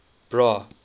bra